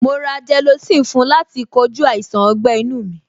Mo ra gelocin fún láti kojú àìsàn ọgbẹ́-inu mi.